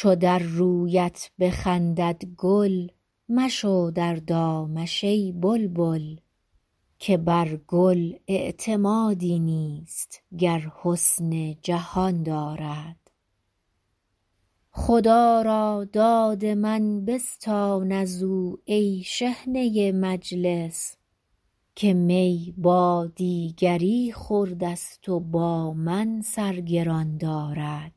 چو در رویت بخندد گل مشو در دامش ای بلبل که بر گل اعتمادی نیست گر حسن جهان دارد خدا را داد من بستان از او ای شحنه مجلس که می با دیگری خورده ست و با من سر گران دارد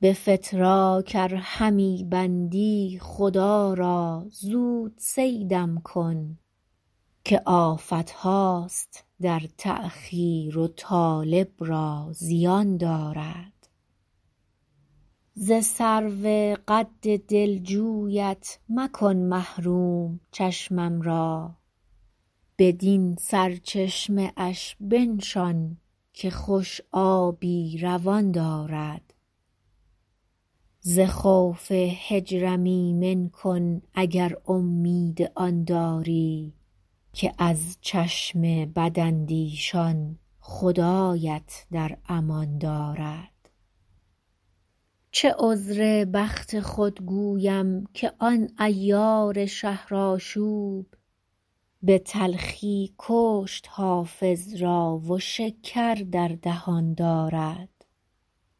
به فتراک ار همی بندی خدا را زود صیدم کن که آفت هاست در تأخیر و طالب را زیان دارد ز سرو قد دلجویت مکن محروم چشمم را بدین سرچشمه اش بنشان که خوش آبی روان دارد ز خوف هجرم ایمن کن اگر امید آن داری که از چشم بداندیشان خدایت در امان دارد چه عذر بخت خود گویم که آن عیار شهرآشوب به تلخی کشت حافظ را و شکر در دهان دارد